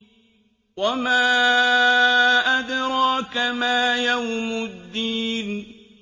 وَمَا أَدْرَاكَ مَا يَوْمُ الدِّينِ